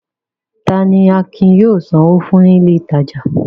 Ta ni Akin yóò sanwó fún ní ilé-ìtajà?